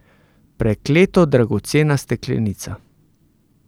Prekleto dragocena steklenica.